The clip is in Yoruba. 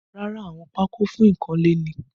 Rárá, àwọn pako fún ikanle ni